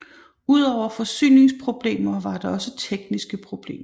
Udover forsyningsproblemer var der også tekniske problemer